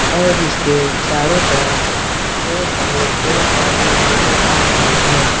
और इसके चारों तरफ हरे भरे पड़े -पौधे नज़र आ रहे हैं।